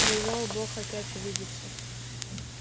привёл бог опять увидеться